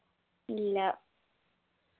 ഇല്ല